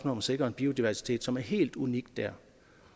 om at sikre en biodiversitet som er helt unik der